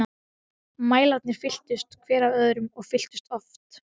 Mælarnir fylltust, hver af öðrum- og fylltust oft.